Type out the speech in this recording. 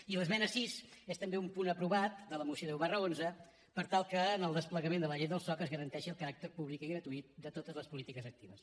i l’esmena sis és també un punt aprovat de la moció deu xi per tal que en el desplegament de la llei del soc es garanteixi el caràcter públic i gratuït de totes les polítiques actives